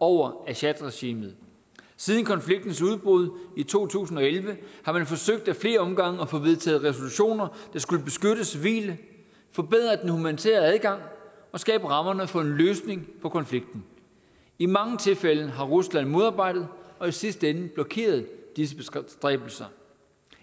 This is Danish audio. over assadregimet siden konfliktens udbrud i to tusind og elleve har man forsøgt i flere omgange at få vedtaget resolutioner der skulle beskytte civile forbedre den humanitære adgang og skabe rammerne for en løsning på konflikten i mange tilfælde har rusland modarbejdet og i sidste ende blokeret disse bestræbelser